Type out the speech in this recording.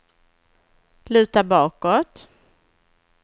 luta bakåt